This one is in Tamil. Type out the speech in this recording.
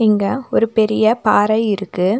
இங்க ஒரு பெரிய பாற இருக்கு.